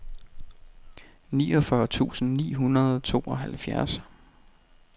niogfyrre tusind ni hundrede og tooghalvfjerds